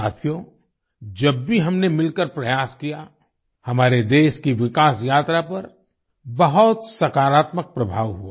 साथियो जब भी हमने मिलकर प्रयास किया हमारे देश की विकास यात्रा पर बहुत सकारात्मक प्रभाव हुआ